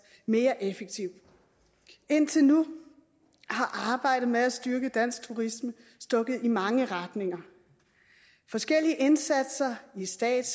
mere effektiv indtil nu har arbejdet med at styrke dansk turisme stukket i mange retninger forskellige indsatser i stat